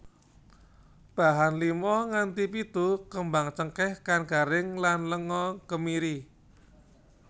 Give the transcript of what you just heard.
Bahan lima nganthi pitu kembang cengkèh kang garing lan lenga kemiri